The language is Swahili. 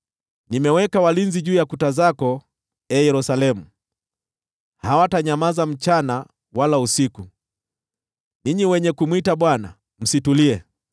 Nimeweka walinzi juu ya kuta zako, ee Yerusalemu, hawatanyamaza mchana wala usiku. Ninyi wenye kumwita Bwana , msitulie,